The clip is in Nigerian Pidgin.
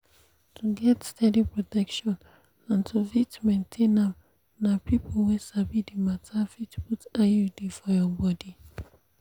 to get steady protection and to fit maintain am na people wey sabi the matter fit put iud for your body.